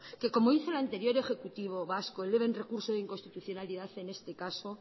que como hizo el anterior ejecutivo vasco eleve el recurso de inconstitucionalidad en este caso